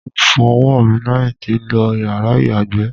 Mo fọ ọwọ́ mi lẹ́yìn tí lo yàrá ìyàgbẹ́.